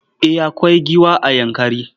Eh akwai giwa a Yankari.